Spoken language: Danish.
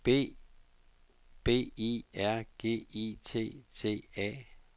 B I R G I T T A